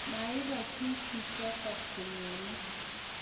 Mairo chi chichotok konyone.